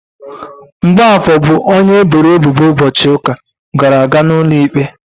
Mgbafor bụ onye eboro ebubo ụbọchị ụka gara aga n'ụlọikpe.